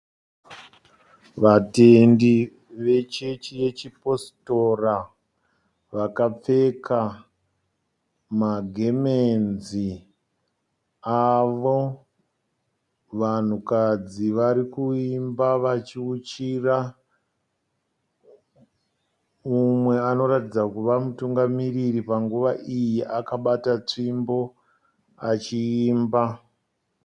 Vatendi vechechi yechipositora vakapfeka magemenzi avo. Vanhukadzi varikuimba vachiuchira. Umwe anoratidza kuva mutungamiriri panguva iyi akabata tsvimbo achiimba.